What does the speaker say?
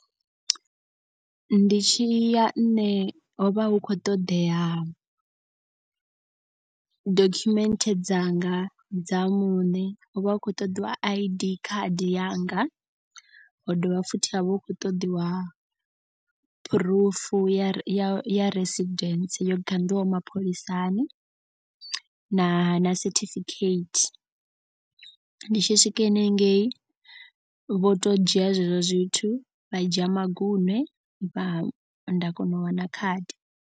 Ndi tshi ya nṋe ho vha hu khou ṱoḓea dokhumenthe dzanga dza muṋe. Ho vha hu khou ṱoḓiwa I_D khadi yanga, ho dovha futhi ha vha hu khou ṱoḓiwa phurufu ya ya ya residence yo ganḓiswaho mapholisani. Na na certificate ndi tshi swika hanengei vho to dzhia zwezwo zwithu vha dzhia magunwe vha nda kona u wana khadi.